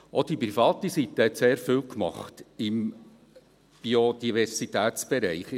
Auch von privater Seite wurde sehr viel gemacht im Biodiversitätsbereich.